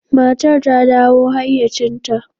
Matar ta dawo hayyacinta.